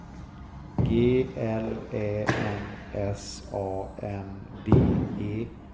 G L Ä N S A N D E